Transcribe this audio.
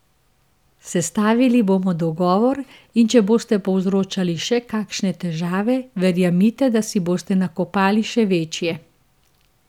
Sestavili bomo dogovor in če boste povzročali še kakšne težave, verjemite, da si boste nakopali še večje.